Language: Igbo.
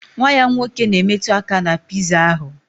Nwa ya nwoke na-emetụ aka na piza ahụ